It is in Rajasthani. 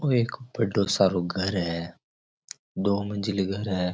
ओ एक बढ़ो सारो घर है दो मंजिला घर है।